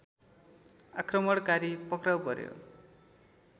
आक्रमणकारी पक्राउ पर्‍यो